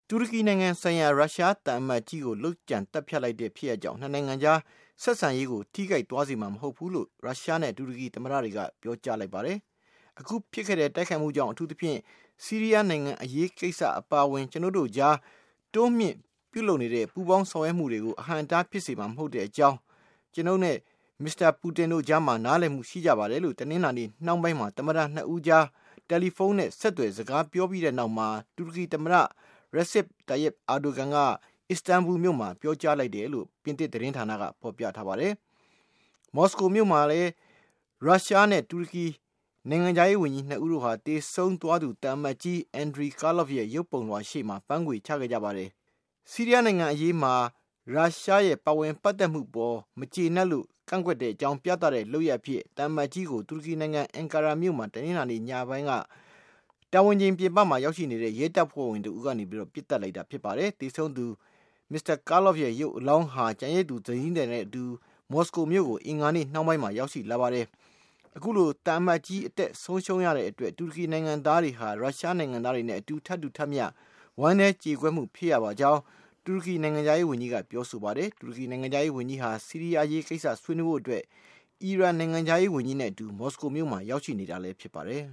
တူရကီနိုင်ငံဆိုင်ရာ ရုရှားသံအမတ်ကြီးကို လုပ်ကြံသတ်ဖြတ်လိုက်တဲ့ ဖြစ်ရပ်ကြောင့် နှစ်နိုင်ငံရဲ့ ဆက်ဆံရေးကို ထိခိုက်ပျက်ပြားစေမှာ မဟုတ်ဘူးလို့ ရုရှားနဲ့ တူရကီသမ္မတတွေက ပြောကြားလိုက်ကြပါတယ်။ အခုဖြစ်ခဲ့တဲ့ တိုက်ခိုက်မှုကြောင့် အထူးသဖြင့် ဆီးရီးယား နိုင်ငံအရေးကိစ္စ အပါအဝင် ကျနော်တို့ကြား တိုးမြှင့်ပြုလုပ်နေတဲ့ ပူးပေါင်းဆောင်ရွက်မှုတွေကို အဟန့်အတားဖြစ်စေမှာ မဟုတ်တဲ့အကြောင်း ကျနော်တို့နဲ့ Mr. Putin တို့ကြား နားလည်မှုရရှိ ကြပါတယ်လို့ တနင်္လာနေ့ နှောင်းပိုင်းမှာ သမ္မတ ၂ ဦးကြား တယ်လီဖုန်းနဲ့ ဆက်သွယ် စကားပြောခဲ့ကြပြီးနောက် တူရကီ သမ္မတ Recep Tayyip Erdogan က အစ္စတန်ဘူလ်မြို့မှာ ပြောကြားလိုက်ကြောင်း ပြင်သစ်သတင်းဌာနက ဖော်ပြထားပါတယ်။ မော်စကိုမြို့မှာလည်း ရုရှားနဲ့ တူရကီနိုင်ငံခြားရေးဝန်ကြီး ၂ ဦးတို့ဟာ သေဆုံးသွားသူ သံအမတ်ကြီး Andrei Karlov ရဲ့ ရုပ်ပုံလွှာရှေ့မှာ ပန်းခွေချခဲ့ကြပါတယ်။ ဆီးရီးယားနိုင်ငံအရေးမှာ ရုရှားရဲ့ ပါဝင်ပတ်သက်မှုအပေါ် မကျေနပ်မှုကို ကန့်ကွက်ကြောင်း ပြသတဲ့ လုပ်ရပ်အဖြစ်နဲ့ သံအမတ်ကြီးကို တူရကီနိုင်ငံ Ankara မြို့မှာ တနင်္လာနေ့ညပိုင်းက တာဝန်ချိန်ပြင်ပရောက် ရဲတပ်ဖွဲ့ဝင်တဦးက ပစ်သတ်လိုက်တာပါ။ သေဆုံးသူ Karlov ရဲ့ ရုပ်အလောင်းဟာ သူ့ရဲ့ ကျန်ရစ်သူ ဇနီးသည်နဲ့အတူ မော်စကိုမြို့ကို အင်္ဂါနေ့ နှောင်းပိုင်းမှာ ရောက်ရှိလာပါတယ်။ အခုလို သံအမတ်ကြီး အသက်ဆုံးရှုံးခဲ့ရတဲ့အတွက် တူရကီနိုင်ငံသားတွေဟာ ရုရှားနိုင်ငံသားတွေနဲ့ ထပ်တူ ဝမ်းနည်းကျေကွဲမှု ဖြစ်ရ ပါကြောင်း တူရကီ နိုင်ငံခြားရေးဝန်ကြီးက ပြောဆိုပါတယ်။ တူရကီ နိုင်ငံခြားရေးဝန်ကြီးဟာ ဆီးရီးယားအရေးကိစ္စ ဆွေးနွေးဖို့အတွက် အီရန် နိုင်ငံခြားရေး ဝန်ကြီးနဲ့အတူ မော်စကို မြို့မှာ ရောက်ရှိနေတာဖြစ်ပါတယ်